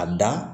A da